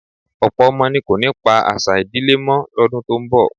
Ọ̀pọ̀ ọmọ ni kò ní pa àṣà ìdílé mọ́ lọ́dún tó ń bọ̀